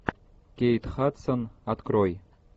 кейт хадсон открой